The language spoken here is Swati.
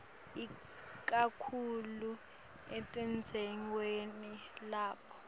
ikakhulu etindzaweni lapho